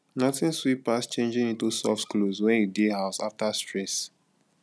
nothing sweet pass changing into soft clothes when you dey house after stress